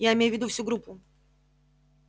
я имею в виду всю группу